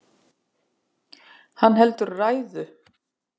Hann heldur ræðu.